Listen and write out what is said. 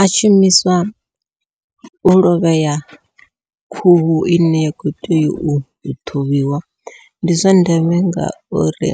A shumiswa u lovhea khuhu ine ya khou tea u ṱhuvhiwa, ndi zwa ndeme ngauri